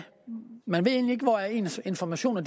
man egentlig hvor ens informationer